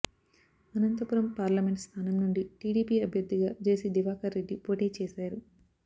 Anantapuram parliament స్థానం నుండి TDP అభ్యర్థిగా జెసి దివాకర్రెడ్డి పోటీచేశారు